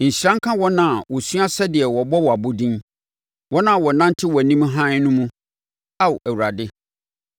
Nhyira nka wɔn a wɔasua sɛdeɛ wɔbɔ wo abɔdin, wɔn a wɔnante wʼanim hann no mu, Ao Awurade.